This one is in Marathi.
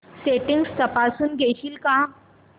सेटिंग्स तपासून घेशील का